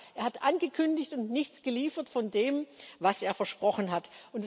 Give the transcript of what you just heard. Aber er hat angekündigt und nichts geliefert von dem, was er versprochen hat.